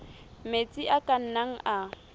metsi a ka nnang a